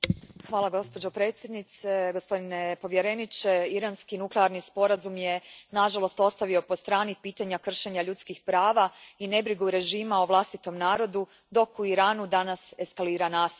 Gospođo predsjednice, gospodine povjereniče, iranski nuklearni sporazum je nažalost ostavio po strani pitanja kršenja ljudskih prava i nebrigu režima o vlastitom narodu, dok u Iranu danas eskalira nasilje.